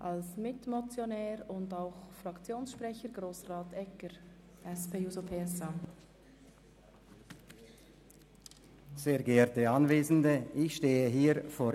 Als Mitmotionär und als Fraktionssprecher der SP-JUSO-PSA-Fraktion hat Grossrat Egger das Wort.